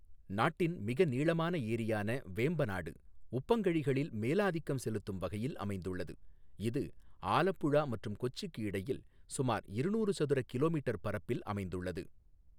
நாட்டின் மிக நீளமான ஏரியான வேம்பநாடு உப்பங்கழிகளில் மேலாதிக்கம் செலுத்தும் வகையில் அமைந்துள்ளது, இது ஆலப்புழா மற்றும் கொச்சிக்கு இடையில் சுமார் இருநூறு சதுர கிமீ பரப்பளவில் அமைந்துள்ளது.